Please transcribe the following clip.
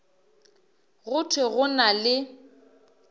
go thwe go na le